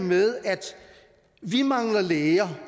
med at vi mangler læger